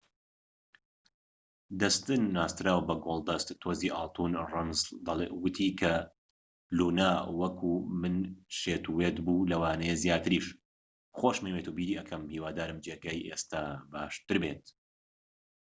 دەستن ناسراو بە گۆلدەست تۆزی ئاڵتون ڕەنڵس، وتی کە لونا وەکو من شێتوێت بوو...لەوانەیە زیاتریش...خۆشمەوێت و بیری دەکەم...هیوادارم جێگەی ئێستا باشتر بێت